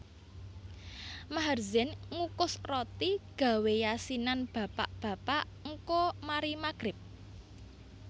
Maher Zain ngukus roti gawe yasinan bapak bapak ngko mari maghrib